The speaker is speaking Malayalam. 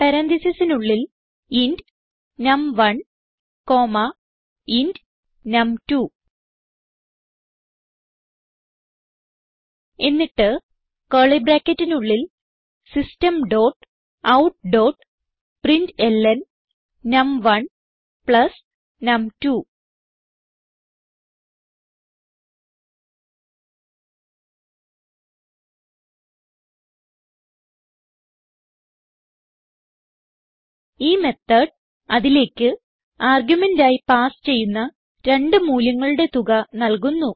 പരാൻതീസിസിനുള്ളിൽ ഇന്റ് നം1 കോമ്മ ഇന്റ് നം2 എന്നിട്ട് കർലി ബ്രാക്കറ്റിനുള്ളിൽ system dot out dot println നം1 പ്ലസ് നം2 ഈ മെത്തോട് അതിലേക്ക് ആർഗുമെന്റ് ആയി പാസ് ചെയ്യുന്ന രണ്ട് മൂല്യങ്ങളുടെ തുക നൽകുന്നു